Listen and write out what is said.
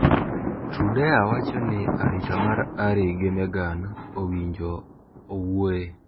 Trudeau wacho ni arita mar Harry gi Meghan owinjo owuoe.